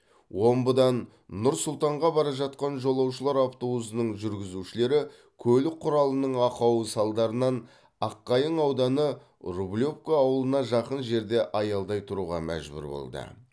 омбыдан нұр сұлтанға бара жатқан жолаушылар автобусының жүргізушілері көлік құралының ақауы салдарынан аққайың ауданы рублевка ауылына жақын жерде аялдай тұруға мәжбүр болды